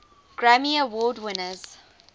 grammy award winners